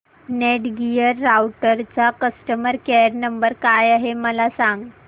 Netgear राउटरचा customer care number काय आहे मला सांग